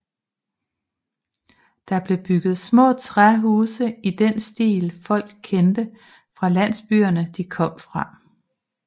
Der blev bygget små træhuse i den stil folk kendte fra landsbyerne de kom fra